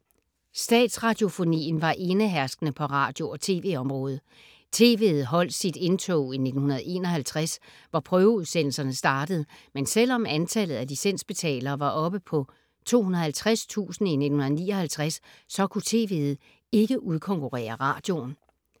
Statsradiofonien var eneherskende på radio- og tv-området. TV’et holdt sit indtog i 1951, hvor prøveudsendelserne startede, men selvom antallet af licensbetalere var oppe på 250.000 i 1959, så kunne TV’et ikke udkonkurrere radioen.